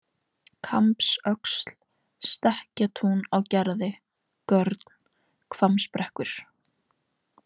Kambsöxl, Stekkatún á Gerði, Görn, Hvammsbrekkur